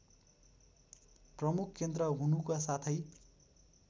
प्रमुख केन्द्र हुनुको साथै